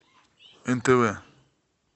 нтв